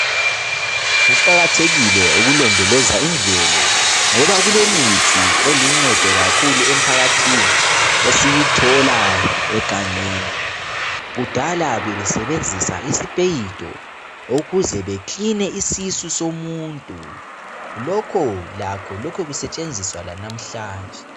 Kuqakathekile ukulondoloza imvelo ngoba kulemithi eluncedo kakhulu emphakathini esiyithola egangeni kudala bebesebenzisa isipeyiti ukuze bekiline isisu somuntu lokho lakho loke kusetshenziswa lanamhlanje.